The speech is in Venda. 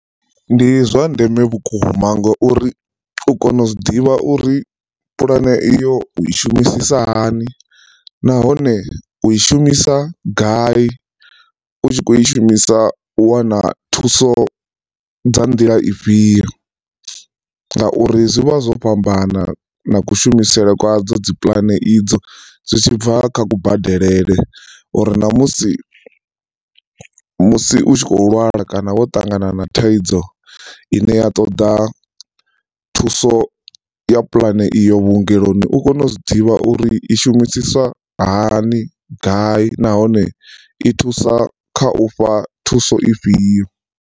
Ndi zwa ndeme vhukuma ngauri u kone u zwi ḓivha uri pulane iyo u i shumisa hani nahone u i shumisa gai u tshi kho i shumisa wana thuso dza nḓila ifhio, ngauri zwi vha zwo fhambana na kushumisele kwa dzo dzi pulane idzo zwitshi bva kha kubadelele uri ṋamusi musi u tshi kho lwala kana wo na thaidzo ine ya ṱoḓa thuso ya pulane iyo vhuongeloni u kone u zwi ḓivha uri i shumisiswa hani gai nahone i thusa khau fha thuso ifhio.